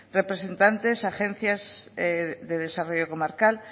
representantes agencias de desarrollo comarcal